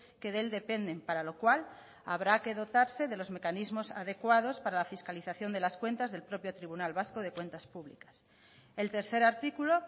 que de él dependen para lo cual habrá que dotarse de los mecanismos adecuados para la fiscalización de las cuentas del propio tribunal vasco de cuentas públicas el tercer artículo